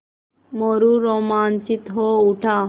मोरू रोमांचित हो उठा